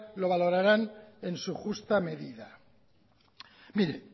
lo valorarán en su justa medida mire